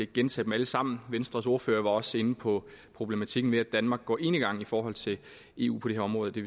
gentage dem alle sammen venstres ordfører var også inde på problematikken med at danmark går enegang i forhold til eu på dette område det